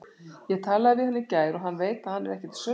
Ég talaði við hann í gær og hann veit að hann er ekki til sölu.